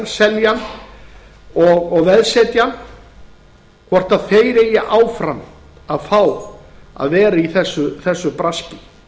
selja hann og veðsetja hann hvort þeir eigi áfram að fá að vera í þessu braski